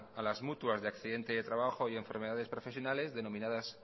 a las mutuas de accidentes de trabajo y enfermedades profesionales denominadas